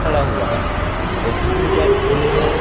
खड़ा हुआ है ओ जिसने गेट खुले हैं।